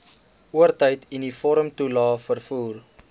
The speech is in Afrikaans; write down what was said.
oortyd uniformtoelae vervoer